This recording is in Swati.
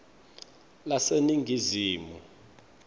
laseningizimu